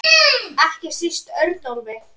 Ekki síst Örnólf.